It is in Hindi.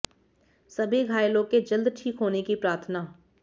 सभी घायलों के जल्द ठीक होने की प्रार्थना